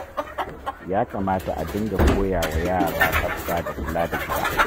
Ya kamata a dinga koyawa yara tsafta da kula da gida.